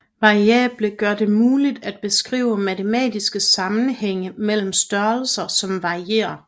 Variable gør det muligt at beskrive matematiske sammenhænge mellem størrelser som varierer